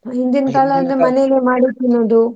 ಹಿಂದಿನ ಮನೇಲಿ ಮಾಡಿದ್ದು ತಿನ್ನೋದು.